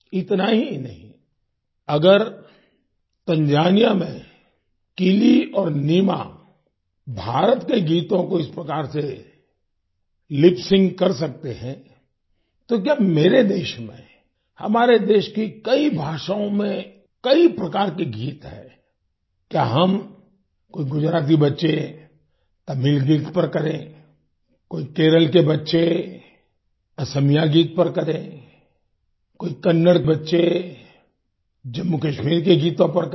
इतना ही नहीं अगर तंजानिया में किलि और नीमा भारत के गीतों को इस प्रकार से लिप सिंक कर सकते हैं तो क्या मेरे देश में हमारे देश की कई भाषाओं में कई प्रकार के गीत हैं क्या हम कोई गुजराती बच्चे तमिल गीत पर करें कोई केरल के बच्चे असमिया गीत पर करें कोई कन्नड़ बच्चे जम्मूकश्मीर के गीतों पर करें